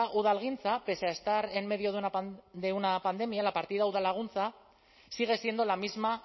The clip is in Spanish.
udalgintza pese a estar en medio de una pandemia la partida udalaguntza sigue siendo la misma